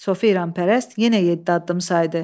Sofi İranpərəst yenə yeddi addım saydı.